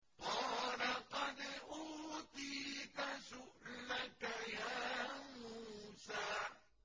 قَالَ قَدْ أُوتِيتَ سُؤْلَكَ يَا مُوسَىٰ